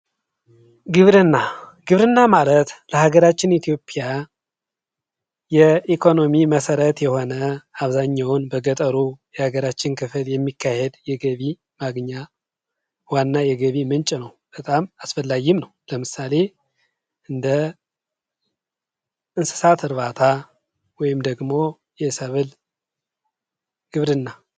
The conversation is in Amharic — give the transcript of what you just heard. ግብርና፤ ግብርና ለሃገራችን ኢትዮጵያ የኢኮኖሚ መሰረት የሆነ አብዛኛውን በገጠሩ የሀገራችን ክፍል የሚካሄድ የገቢ ማግኛ ዋና የገቢ ምንጭ ነው። በጣም አስፈላጊም ነው። ለምሳሌ፦ እንደ እንስሳት እርባታ ወይም ደግሞ የሰበል ግብርና